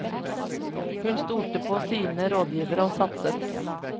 Hun stolte på sine rådgivere og satset.